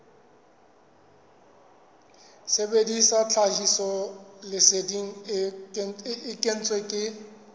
sebedisa tlhahisoleseding e kentsweng ke